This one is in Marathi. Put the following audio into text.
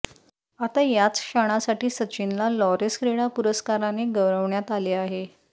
आता याच क्षणासाठी सचिनला लॉरेस क्रीडा पुरस्काराने गौरवण्यात आले आहे